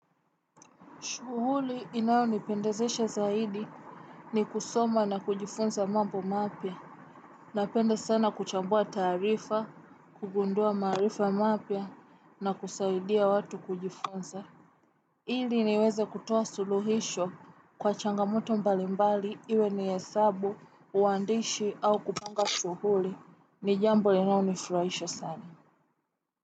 Shughuli inayonipendazesha zaidi ni kusoma na kujifunza mambo mapya. Napenda sana kuchambua tarifa, kugundua marifa mapya na kusaidia watu kujifunza. Ili niweze kutuwa suluhisho kwa changamuto mbalimbali iwe ni hesabu, uandishi au kupanga shughuli. Nijambo linalonifuraisha sana.